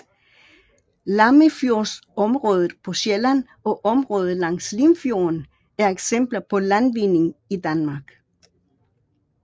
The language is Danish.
Lammefjordsområdet på Sjælland og områder langs Limfjorden er eksempler på landvinding i Danmark